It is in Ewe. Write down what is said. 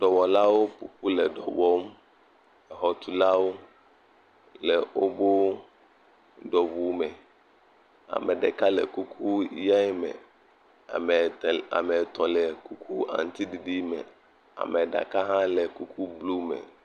Dɔwɔlawo ƒoƒu le dɔ wɔm, exɔtulawo le wobo dɔwɔwu me, ame ɖeka le kuku ʋe me, ame te ame etɔ̃ le kuku aŋutiɖiɖi me ame ɖeka hã le kuku blu me.